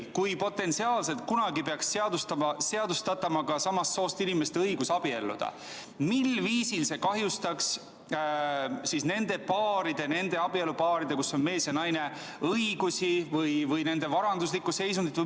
Kui potentsiaalselt kunagi peaks seadustatama ka samast soost inimeste õigus abielluda, mil viisil see kahjustaks nende abielupaaride õigusi või nende abielupaaride varanduslikku seisundit, kus abielus on mees ja naine?